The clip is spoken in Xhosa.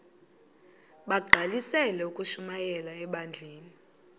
bagqalisele ukushumayela ebandleni